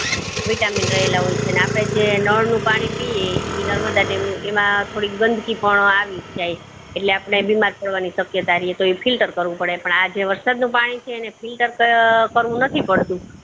vitamin રહેલ હોય છે ને જે આપડે જે નળ નું પાણી પીએ ઈ નર્મદા dam નું એમાં થોડી ગંદકી પણ આવીજ જાય છે એટલે આપડે બીમાર પડવાની શક્યતા રેય છે તો ઈ filter કરવું પડે પણ જે આ વરસાદ નું પાણી છે filter કર્ય્વું નથી પડતું